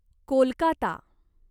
Kolkata